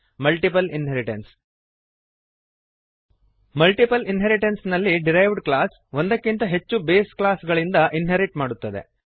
multiple inheritance multiple inheritance ನಲ್ಲಿ derived class ಒಂದಕ್ಕಿಂತ ಹೆಚ್ಚು ಬೇಸ್ ಕ್ಲಾಸ್ ಗಳಿಂದ ಇನ್ಹೆರಿಟ್ ಮಾಡುತ್ತದೆ